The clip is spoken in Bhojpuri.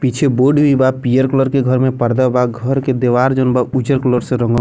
पीछे बोर्ड भी बा पीयर कलर के घर में पर्दा भी बा घर के देवार जो बा उज़र कलर से रंगल --